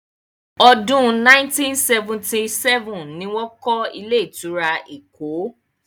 Ọdún 1977 ni wọ́n kọ́ ilé-ìtura Èkó.